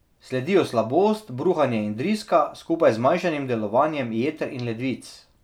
Sledijo slabost, bruhanje in driska, skupaj z zmanjšanim delovanjem jeter in ledvic.